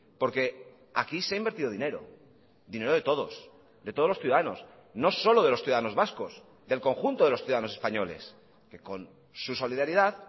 porque aquí se ha invertido dinero dinero de todos de todos los ciudadanos no solo de los ciudadanos vascos del conjunto de los ciudadanos españoles que con su solidaridad